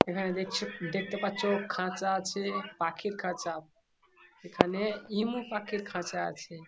এখানে দেখছো দেখতে পাচ্ছ খাঁচা আছে পাখির খাঁচা । এখানে ইমু পাখির খাঁচা আছে ।